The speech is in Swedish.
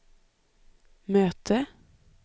möte